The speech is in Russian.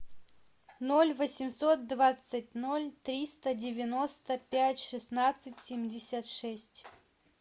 ноль восемьсот двадцать ноль триста девяносто пять шестнадцать семьдесят шесть